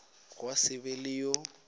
gwa se be le yo